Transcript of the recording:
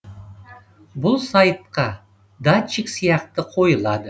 бұл сайтқа датчик сияқты қойылады